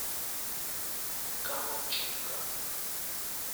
коротченко